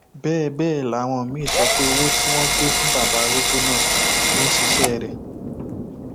bẹẹ bẹẹ làwọn míín sọ pé owó tí wọn gbé wá fún bàbá arúgbó náà ló ń ṣiṣẹ rẹ